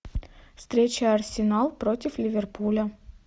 встреча арсенал против ливерпуля